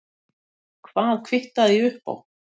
Hvað kvittaði ég upp á?